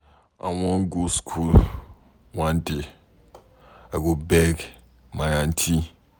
I wan go school one day. I go beg my aunty.